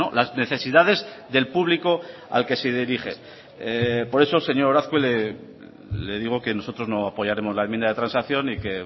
las necesidades del público al que se dirige por eso señor azkue le digo que nosotros no apoyaremos la enmienda de transacción y que